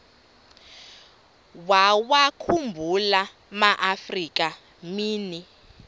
wawakhumbul amaafrika mini